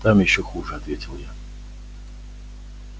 там ещё хуже ответил я